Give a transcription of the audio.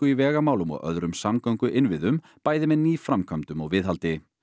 í vegamálum og öðrum samgönguinnviðum bæði með nýframkvæmdum og viðhaldi